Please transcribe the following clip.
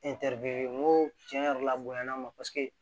n ko tiɲɛ yɛrɛ la bonyana ma paseke